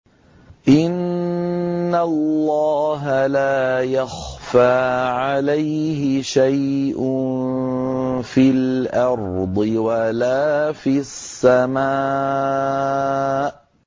إِنَّ اللَّهَ لَا يَخْفَىٰ عَلَيْهِ شَيْءٌ فِي الْأَرْضِ وَلَا فِي السَّمَاءِ